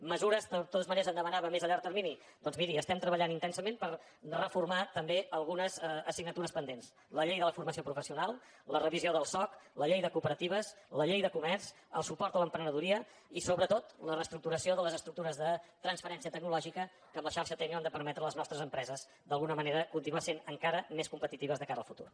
mesures de totes maneres em demanava més a llarg termini doncs miri estem treballant intensament per reformar també algunes assignatures pendents la llei de la formació professional la revisió del soc la llei de cooperatives la llei de comerç el suport a l’emprenedoria i sobretot la reestructuració de les estructures de transferència tecnològica que amb la xarxa tecnio han de permetre a les nostres empreses d’alguna manera continuar sent encara més competitives de cara al futur